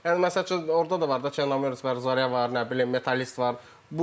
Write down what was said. Yəni məsəl üçün orda da var da, Çornomorets var, Zarya var, nə bilim, Metallist var.